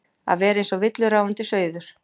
Að vera eins og villuráfandi sauður